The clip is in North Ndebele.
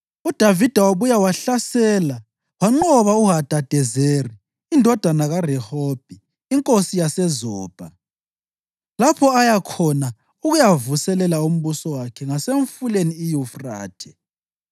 UDavida wabuya wahlasela wanqoba uHadadezeri indodana kaRehobhi, inkosi yaseZobha, lapho aya khona ukuyavuselela umbuso wakhe ngaseMfuleni iYufrathe.